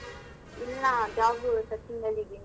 ಇಲ್ಲ job ಉ searching ಅಲ್ ಇದೀನಿ.